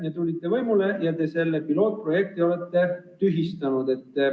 Nüüd tulite teie võimule ja te olete selle pilootprojekti tühistanud.